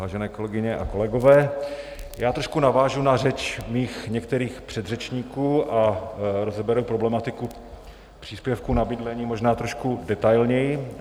Vážené kolegyně a kolegové, trošku navážu na řeč mých některých předřečníků a rozeberu problematiku příspěvku na bydlení možná trošku detailněji.